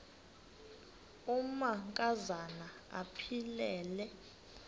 amanka zana aphilele